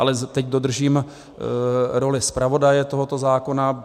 Ale teď dodržím roli zpravodaje tohoto zákona.